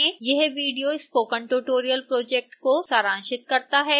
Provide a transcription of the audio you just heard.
यह video spoken tutorial project को सारांशित करता है